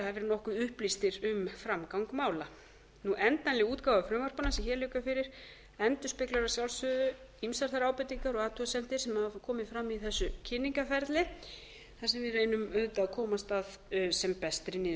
verið nokkuð upplýstir um framgang mála endanleg útgáfa frumvarpanna sem hér liggur fyrir endurspeglar að sjálfsögðu ýmsar þær ábendingar og athugasemdir sem hafa komið fram í þessu kynningarferli þar sem við reynum auðvitað að komast að sem bestri